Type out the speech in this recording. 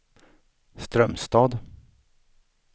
Strömstad